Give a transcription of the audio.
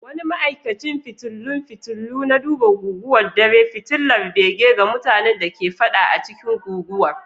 Wani ma'aikacin fitilun fitulu na duba guguwar dare, fitilar bege ga mutanen da ke fada a cikin guguwar.